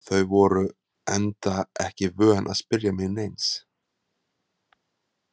Þau voru enda ekki vön að spyrja mig neins.